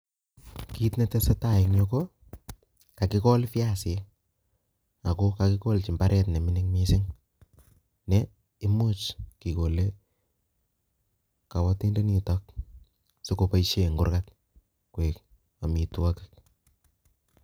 Kit netesetai eng yu ko kakok pyasik eng mbaret neming'in mising ne imuch kabatindoni sikoboishe ngurkat